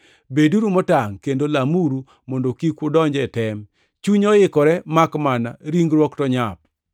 Beduru motangʼ kendo lamuru mondo kik udonj e tem. Chuny oikore makmana ringruok to nyap.”